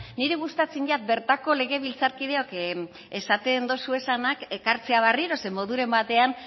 niri gustatzen zait bertako legebiltzarkideok esaten dituzuenak ekartzea berriro zeren moduren batean